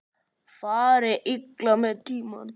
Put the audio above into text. Fari illa með tímann.